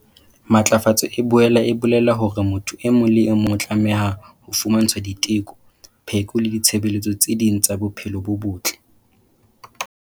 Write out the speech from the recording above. Matlafatso e boela e bolela hore motho e mong le e mong o tlameha ho fumantshwa diteko, pheko le ditshebeletso tse ding tsa bophelo bo botle.